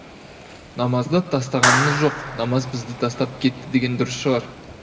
намазды тастағанымыз жоқ намаз бізді тастап кетті деген дұрыс шығар